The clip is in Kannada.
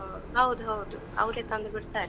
ಹೌದೌದು, ಅವ್ರೇ ತಂದು ಬಿಡ್ತಾರೆ.